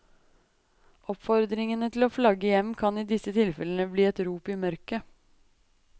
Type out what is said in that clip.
Oppfordringen til å flagge hjem kan i disse tilfellene bli et rop i mørket.